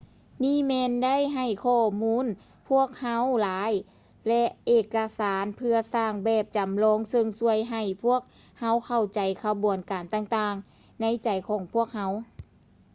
ນີ້ແມ່ນໄດ້ໃຫ້ຂໍ້ມູນພວກເຮົາຫຼາຍ ແລະ ເອກະສານເພື່ອສ້າງແບບຈຳລອງເຊິ່ງຊ່ວຍໃຫ້ພວກເຮົາເຂົ້າໃຈຂະບວນການຕ່າງໆໃນໃຈຂອງພວກເຮົາ